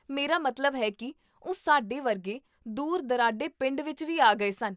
ਮੇਰਾ ਮਤਲਬ ਹੈ ਕਿ ਉਹ ਸਾਡੇ ਵਰਗੇ ਦੂਰ ਦੁਰਾਡੇ ਪਿੰਡ ਵਿੱਚ ਵੀ ਆ ਗਏ ਸਨ